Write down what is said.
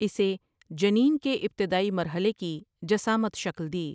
اسے جنین کے ابتدائی مرحلے کی جسامت شکل دی ۔